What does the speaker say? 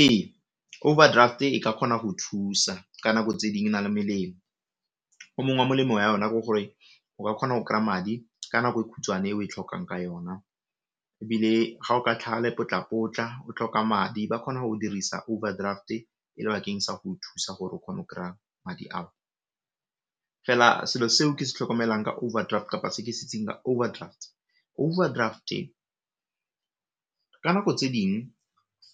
Ee, overdraft e ka kgona go thusa ka nako tse ding e na le melemo, o mong wa molemo wa yona ke gore o ka kgona go kry-a madi ka nako e khutshwane e o e tlhokang ka yona, ebile ga o ka tlhaga lepotlapotla o tlhoka madi ba kgona go o dirisa overdraft e le bakeng sa go o thusa gore o kgone go kry-a madi ao, fela selo seo ke se tlhokomelang ka overdraft kapa se ke se itseng ka overdrafts, overdraft ka nako tse ding